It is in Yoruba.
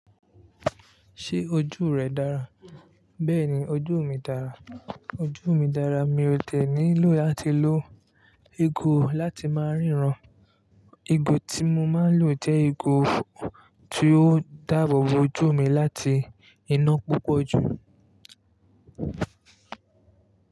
Ṣé ojú rẹ dára? Bẹ́ẹ̀ni ojú mi dára. Ojú mi dára mi ò dẹ́niló láti lo igo láti máa ríran. Ego tí mo máa ń lò jẹ́ ego tí ó dáàbò bo ojú mi láti iná púpọ̀ jù.